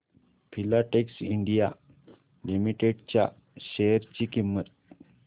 Filatex India limited च्या share ची किंमत